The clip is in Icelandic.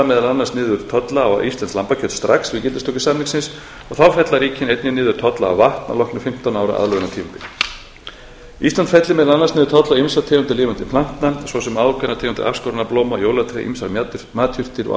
meðal annars niður tolla á íslenskt lambakjöt strax við gildistöku samningsins og þá fella ríkin einnig niður tolla á vatn að loknu fimmtán ára aðlögunartímabili ísland fellir meðal annars niður tolla á ýmsar tegundir lifandi plantna svo sem ákveðnar tegundir afskorinna blóma jólatré ýmsar matjurtir og